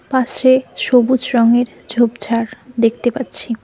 পাশে সবুজ রঙের ঝোপঝাড় দেখতে পাচ্ছি।